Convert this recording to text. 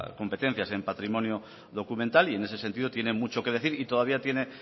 competencia en patrimonio documental y en ese sentido tiene mucho que decir y todavía tiene